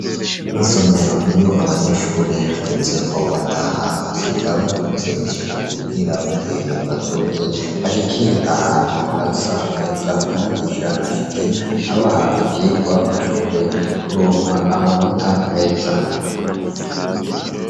Isomero, iyo abanyeshure hagezeko bataha basiga bakoze isuku kugira bukeye bazoze bashikire ahantu hasa neza , umwigisha ashike ,abaha ivyigwa ,bashobore kuronka amanota meza.